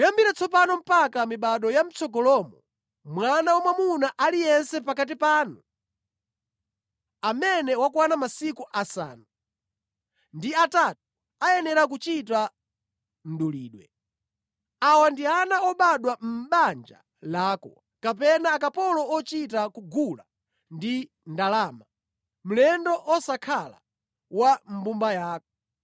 Kuyambira tsopano mpaka mibado ya mʼtsogolomo mwana wamwamuna aliyense pakati panu amene wakwana masiku asanu ndi atatu ayenera kuchita mdulidwe. Awa ndi ana obadwa mʼbanja lako, kapena akapolo ochita kugula ndi ndalama, mlendo osakhala wa mʼmbumba yako.